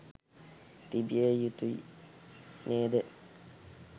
තිබිය යුතුයි නේද?